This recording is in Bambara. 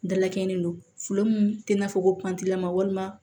Dalakɛɲɛ don tɛ i n'a fɔ ko walima